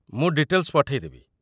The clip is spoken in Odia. ମୁଁ ଡିଟେଲ୍‌ସ ପଠେଇ ଦେବି।